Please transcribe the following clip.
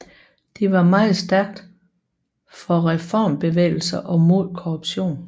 De var meget stærkt for reformbevægelser og mod korruption